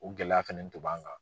O gɛlɛya fɛnɛ to b'an kan.